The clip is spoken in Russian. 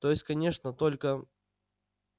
то есть конечно только